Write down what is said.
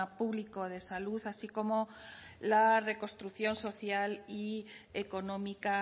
público de salud así como la reconstrucción social y económica